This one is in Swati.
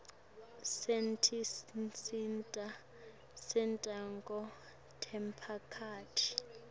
setinsita tekusakata temphakatsi